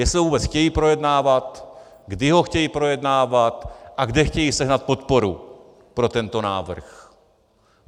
Jestli to vůbec chtějí projednávat, kdy ho chtějí projednávat a kde chtějí sehnat podporu pro tento návrh.